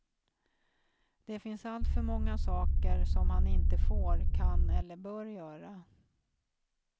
Det finns alltför många saker som han inte får, kan eller bör göra.